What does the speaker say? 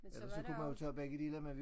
Ellers så kunne man jo tage begge dele men vi